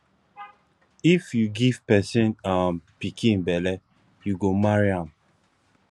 if you give pesin um pikin belle you go marry am